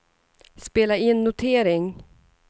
spela in notering